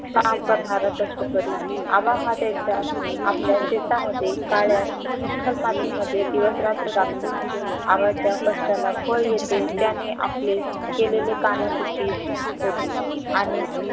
काम करणारा कष्टकरी आबा हा त्याच्या आपल्या शेतामध्ये काळ्या चिखल मातीमध्ये दिवसरात्र राबतो आबाच्या कष्टाला फळ येते त्याने आपले केलेल्या कामाचे चीज होते आणि